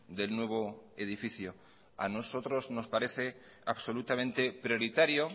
del nuevo edificio a nosotros nos parece absolutamente prioritario